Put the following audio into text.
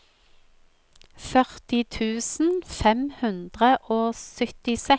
førti tusen fem hundre og syttiseks